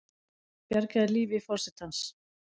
Bjargaði lífi forsetans